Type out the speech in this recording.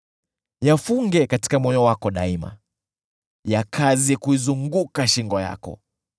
Yafunge katika moyo wako daima, yakaze kuizunguka shingo yako.